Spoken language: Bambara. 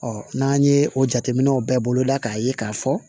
n'an ye o jateminɛw bɛɛ bolo da k'a ye k'a fɔ